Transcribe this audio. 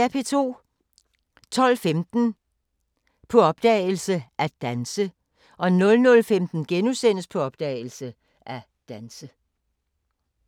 12:15: På opdagelse – At danse 00:15: På opdagelse – At danse *